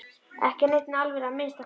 Ekki af neinni alvöru að minnsta kosti.